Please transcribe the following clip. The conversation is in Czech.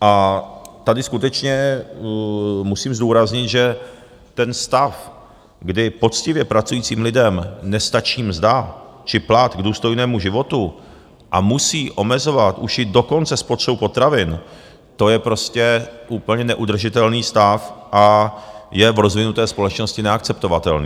A tady skutečně musím zdůraznit, že ten stav, kdy poctivě pracujícím lidem nestačí mzda či plat k důstojnému životu a musí omezovat už i dokonce spotřebu potravin, to je prostě úplně neudržitelný stav a je v rozvinuté společnosti neakceptovatelný.